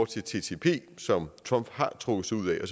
til ttp som trump har trukket sig ud af